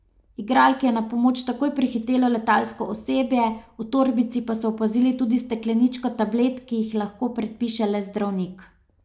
Igralki je na pomoč takoj prihitelo letalsko osebje, v torbici pa so opazili tudi stekleničko tablet, ki jih lahko predpiše le zdravnik.